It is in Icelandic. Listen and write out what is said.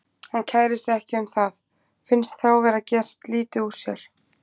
Hann kærir sig ekki um það, finnst þá vera gert lítið úr sér.